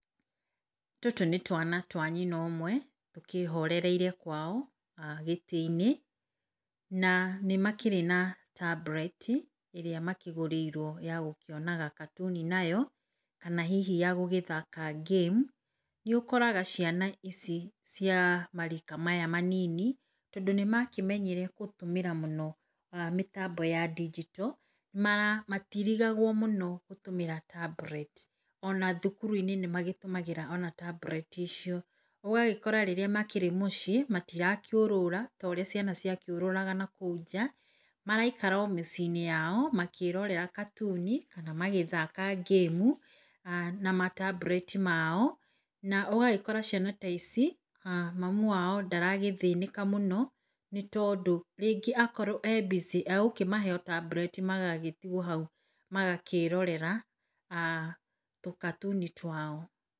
Tũtũ nĩ twana twa nyina ũmwe tũkĩhorereire kwao gĩtĩ-inĩ, na nĩ makĩrĩ na tablet ĩrĩa makĩgũrĩirwo ya gũkĩonaga gatuni nayo, kana hihi ya gũthaka game. Nĩ ũkoraga ciana ici cia marika maya manini, tondũ nĩ makĩmenyire gũtũmĩra mũno mĩtambo ya ndijito, matirigagwo mũno gũtũmĩra tablet ona thukuru-inĩ nĩ matũmagĩra ona tablet icio. Ũgagĩkora rĩrĩa makĩrĩ mũciĩ matirakĩũrũra ta ũrĩa ciana ciakĩũrũraga nakũu nja. Maraikara o mĩciĩ-inĩ yao makĩrorera katuni, kana magĩthaka gamu na matambureti mao, na ũgagĩkora ciana ta ici mamu wao ndaragĩthĩnĩka mũno, nĩ tondũ rĩngĩ akorwo e busy egũkĩmahe o tambureti magagĩtigwo hau makĩrorera, tũkatuni twao.